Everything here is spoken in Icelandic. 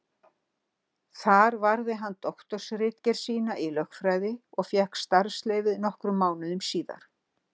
Þar varði hann doktorsritgerð sína í lögfræði og fékk starfsleyfi nokkrum mánuðum síðar.